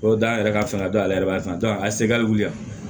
O dan yɛrɛ ka fanga dɔ ale yɛrɛ b'a kan a segin a bɛ wuli yan